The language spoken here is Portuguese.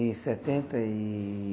Em setenta e